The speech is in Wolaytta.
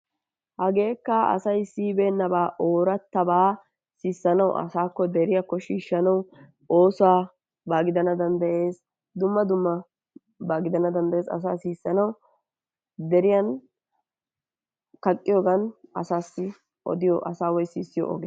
Hageekka asay siyibeenaba ooratabaa sissanawu asaakko deriyaakko oosuwaba gidanna danddayees, dumma dummabaa gidana danddayees asaa sissanawu deriyan kaqqiyogan asaassi odiyo woykko asaa sissiyo oge